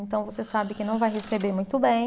Então, você sabe que não vai receber muito bem.